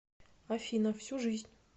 афина всю жизнь